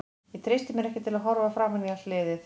Ég treysti mér ekki til að horfa framan í allt liðið.